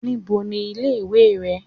Ní bo ni ilé ìwé re?